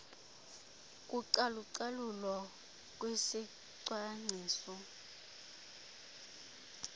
kucalu calulo kwisicwangciso